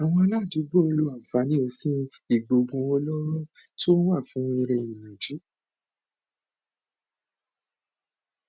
àwọn aládùúgbò ń lo àǹfààní òfin ìgbọoògùn olóró tó wà fún eré ìnàjú